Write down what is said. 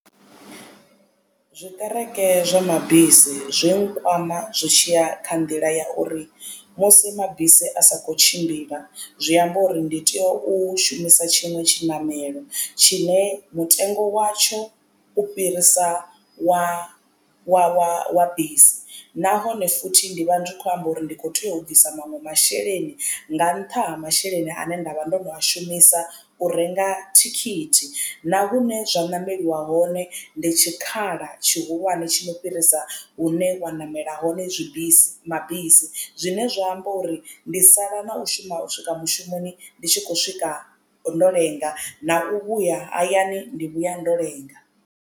Zwiṱereke zwa mabisi zwi nkwama zwi tshiya kha nḓila ya uri musi mabisi a sa kho tshimbila zwi amba uri ndi tea u shumisa tshinwe tshiṋamelo tshine mutengo watsho u fhirisa wa wa wa bisi, nahone futhi ndi vha ndi khou amba uri ndi kho tea u bvisa maṅwe masheleni nga nṱha ha masheleni ane nda vha ndo no a shumisa u renga thikhithi. Na vhune zwa ṋameliwa hone ndi tshikhala tshihulwane tsho no fhirisa hune wa namela hone zwi bisi mabisi zwine zwa amba uri ndi sala na u shuma u swika mushumoni ndi tshi khou swika ndo lenga na u vhuya hayani ndi vhuya ndo lenga.